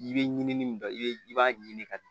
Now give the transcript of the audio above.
I bɛ ɲinini min don i b'a ɲini ka